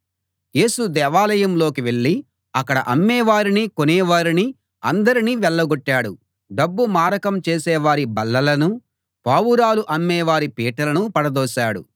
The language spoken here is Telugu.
యేసు దేవాలయంలోకి వెళ్ళి అక్కడ అమ్మేవారిని కొనేవారిని అందరినీ వెళ్ళగొట్టాడు డబ్బు మారకం చేసేవారి బల్లలనూ పావురాలు అమ్మేవారి పీటలనూ పడదోశాడు